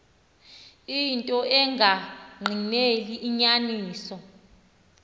into engagqineli inyaniso